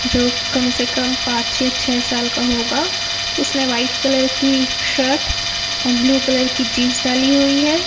जो कम से कम पांच छे छे साल का होगा उसने व्हाइट कलर की शर्ट और ब्लू कलर की जींस डाली हुई है।